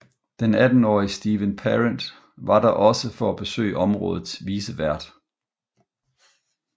Den attenårige Steven Parent var der også for at besøge områdets vicevært